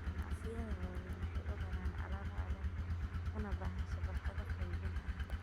Ganacsiyada waaweyn waxay u raraan alaab caalami ah, una baahan shabakado qaybin adag.